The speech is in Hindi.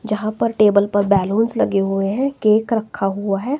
जहां पर टेबल पर बलूंस लगे हुए हैं केक रखा हुआ है।